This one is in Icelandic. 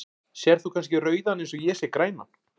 Sérð þú kannski rauðan eins og ég sé grænan?